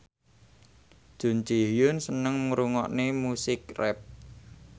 Jun Ji Hyun seneng ngrungokne musik rap